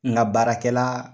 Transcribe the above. N ka baarakɛla